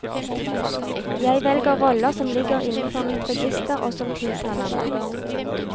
Jeg velger roller som ligger innenfor mitt register og som tiltaler meg.